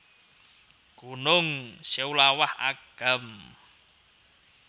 Gunung Seulawah Agam